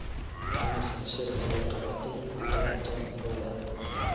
Imisa shir ayay qabatay Maria Tom Mboya?